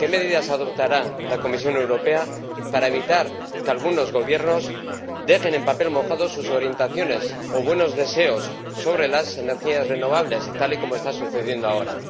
¿Qué medidas adoptará la Comisión Europea para evitar que algunos Gobiernos dejen en papel mojado sus orientaciones o buenos deseos sobre las energías renovables, tal y como está sucediendo ahora?